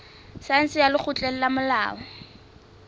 saense ya lekgotleng la molao